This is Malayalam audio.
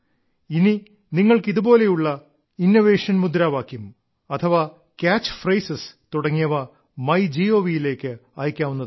ഇനി നിങ്ങൾക്ക് ഇതുപോലുള്ള ഇന്നവേറ്റീവായ മുദ്രാവാക്യങ്ങൾ അഥവാ രമരേവ ുവൃമലെ െതുടങ്ങിയവ ങ്യ ഏീ് യിലേക്ക് അയക്കാവുന്നതാണ്